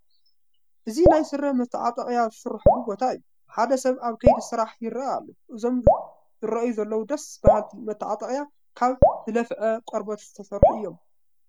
እዚ ናይ ስረ መስተዓጠቒያ ዝስርሐሉ ቦታ እዩ፡፡ ሓደ ሰብ ኣብ ከይዲ ስራሕ ይርአ ኣሎ፡፡ እዞም ዝረአዩ ዘለዉ ደስ በሃልቲ መስተዓጠቒያ ካብ ዝለፍዓ ቆርበት ዝተሰርሑ እዮም፡፡